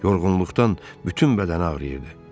Yorğunluqdan bütün bədəni ağrıyırdı.